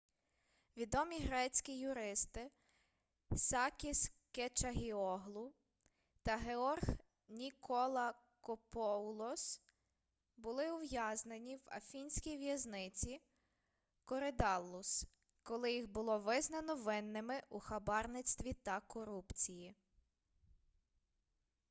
відомі грецькі юристи сакіс кечагіоглу та георг ніколакопоулос були ув'язнені в афінській в'язниці коридаллус коли їх було визнано винними у хабарництві та корупції